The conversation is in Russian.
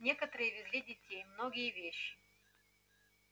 некоторые везли детей многие вещи